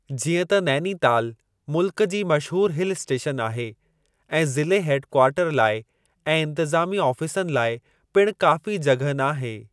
जीअं त नैनीताल मुल्क जी मशहूर हिल इस्टेशन आहे ऐं ज़िले हेड कवार्टर लाइ ऐं इन्तिज़ामी आफ़ीसनि लाइ पिणु काफ़ी जॻह नाहे।